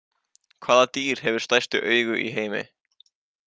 Hvaða dýr hefur stærstu augu í heimi?